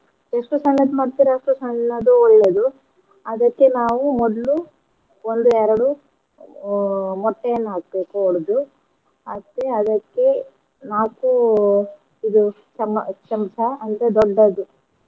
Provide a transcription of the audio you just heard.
ಎಷ್ಟು ಸಣ್ಣದು ಮಾಡ್ತೀರಾ ಅಷ್ಟು ಸಣ್ಣದು ಒಳ್ಳೇದು ಅದಕ್ಕೆ ನಾವು ಮೊದ್ಲು ಒಂದು ಎರ್ಡು ಅಹ್ ಮೊಟ್ಟೆಯನ್ನ ಹಾಕ್ಬೇಕು ಒಡ್ದು ಮತ್ತೆ ಅದಕ್ಕೆ ನಾಕು ಇದು ಚಮ~ ಚಮ್ಚಾ ಅಂದ್ರೆ ದೊಡ್ಡದು.